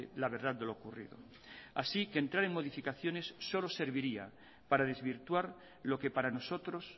la verdad de lo ocurrido así que entrar en modificaciones solo serviría para desvirtuar lo que para nosotros